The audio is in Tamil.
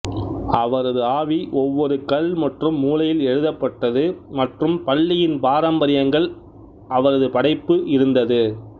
அவரது ஆவி ஒவ்வொரு கல் மற்றும் மூலையில் எழுதப்பட்டது மற்றும் பள்ளியின் பாரம்பரியங்கள் மற்றும் பாரம்பரியங்கள் அவரது படைப்பு இருந்தது